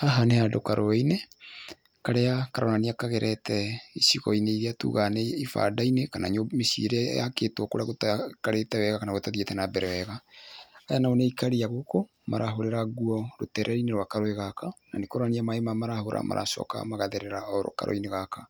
Haha nĩ handũ karũinĩ karĩa karonania kagerete icigoinĩ iria tugaga nĩ ibanda-inĩ kana mĩciĩinĩ ĩrĩa yakĩtwo kũrĩa gũtaikarĩte wega kana kũrĩa gũtathiĩte na mbere wega. Aya nao nĩ aikari a gũkũ marahũrĩra nguo rũtereinĩ rwa karũi gaka na nĩkũronania maĩ maya marahũra maracoka magatherera o karũinĩ gaka.